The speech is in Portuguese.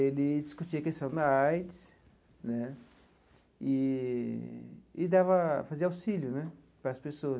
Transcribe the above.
Ele discutia a questão da AIDS né eee e dava, fazia auxílio né para as pessoas.